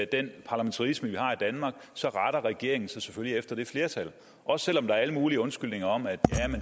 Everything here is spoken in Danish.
den parlamentarisme vi har i danmark retter regeringen sig selvfølgelig efter det flertal også selv om der er alle mulige undskyldninger om at